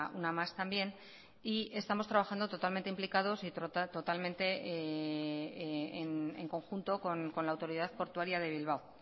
una más también y estamos trabajando totalmente implicados y totalmente en conjunto con la autoridad portuaria de bilbao